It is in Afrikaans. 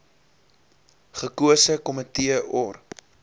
gekose komitee or